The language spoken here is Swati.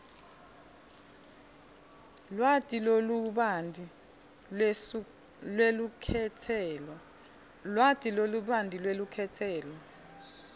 lwati lolubanti lwelukhetselo